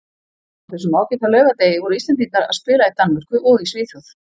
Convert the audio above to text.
Á þessum ágæta laugardegi voru Íslendingar að spila í Danmörku og í Svíþjóð.